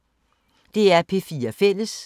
DR P4 Fælles